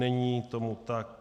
Není tomu tak.